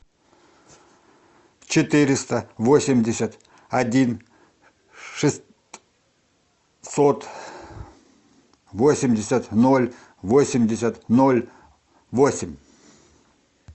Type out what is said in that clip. четыреста восемьдесят один шестьсот восемьдесят ноль восемьдесят ноль восемь